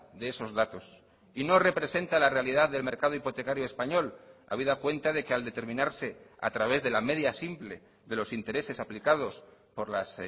de esos datos y no representa la realidad del mercado hipotecario español habida cuenta de que al determinarse a través de la media simple de los intereses aplicados por las